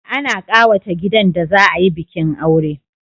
Ana kawata gidan da za a yi bikin aure